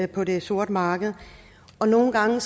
på det sorte marked og nogle gange